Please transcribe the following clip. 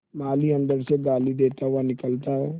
माली अंदर से गाली देता हुआ निकलता है